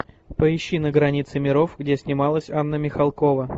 поищи на границе миров где снималась анна михалкова